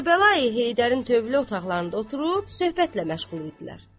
Kərbəlayı Heydərin tövlə otaqlarında oturub söhbətlə məşğul idilər.